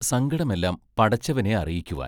സങ്കടമെല്ലാം പടച്ചവനെ അറിയിക്കുവാൻ.